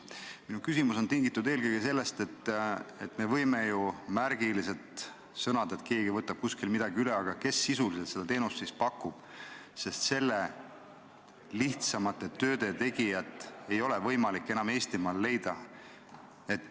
Minu küsimus on tingitud eelkõige sellest, et me võime ju öelda, et keegi võtab kuskil midagi üle, aga kes sisuliselt seda teenust siis pakub, sest lihtsamate tööde tegijat ei ole võimalik enam Eestimaal leida.